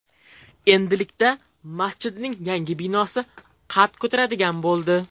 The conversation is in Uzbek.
Endilikda masjidning yangi binosi qad ko‘taradigan bo‘ldi.